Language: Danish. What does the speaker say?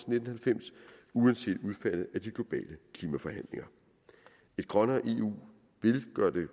nitten halvfems uanset udfaldet af de globale klimaforhandlinger et grønnere eu vil gøre de